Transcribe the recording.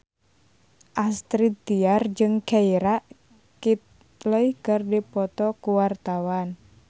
Astrid Tiar jeung Keira Knightley keur dipoto ku wartawan